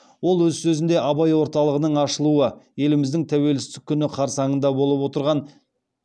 ол өз сөзінде абай орталығының ашылуы еліміздің тәуелсіздік күні қарсаңында болып отырған